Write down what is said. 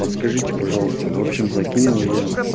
подскажите пожалуйста в общем закинул я